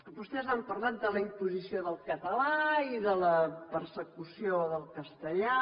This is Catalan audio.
vostès han parlat de la imposició del català i de la persecució del castellà